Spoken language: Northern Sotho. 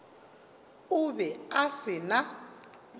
o be a se na